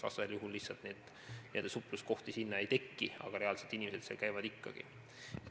Vastasel juhul lihtsalt neid supluskohti ei teki, aga inimesed seal käivad ikkagi.